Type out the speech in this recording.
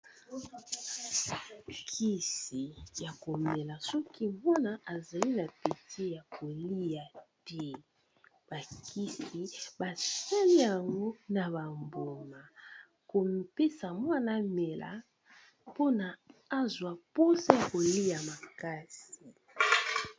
kisi ya komela soki ozangi appeti ya kolia ,bakisi basali yango na bambuma ya kopesa mwana amela pona azwua poda ya kolia makasi